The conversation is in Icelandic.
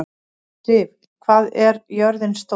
Siv, hvað er jörðin stór?